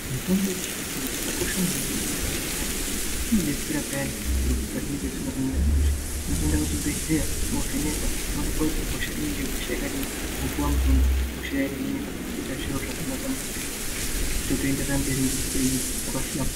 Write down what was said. Mitombo yechi zvino zvino yakakosha maningi mu ndaramo ye anhu nenyaya yekuti ino detsera peyani zviro pazvinenge zvisina kumira mushe unoto enda ku Chibhedhleya wo vhenekwa wo onekwa kuti hosha inenge hosha yakadini wopuwa mutombo hosha yo hinika zvoita zviro zvaka naka maningi toto enderera nge upenyu hwaka hlamburuka.